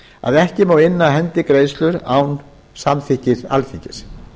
að ekki má inna af hendi greiðslur án samþykkis alþingis